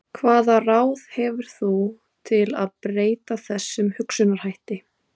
Hvaða ráð hefur þú til að breyta þessum hugsunarhætti?